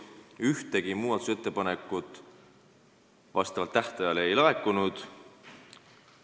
Ühtegi muudatusettepanekut tähtajaks ei laekunud.